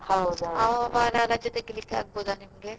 ರಜೆ ತೆಗೀಲಿಕ್ಕೆ ಆಗಬೋದಾ ನಿಮಗೆ?